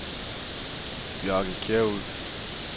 Bjarke Kjærulff